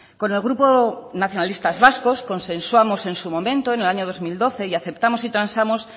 con el grupo nacionalistas vascos consensuamos en su momento en el año dos mil doce y aceptamos y transamos